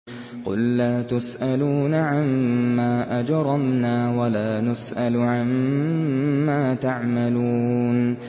قُل لَّا تُسْأَلُونَ عَمَّا أَجْرَمْنَا وَلَا نُسْأَلُ عَمَّا تَعْمَلُونَ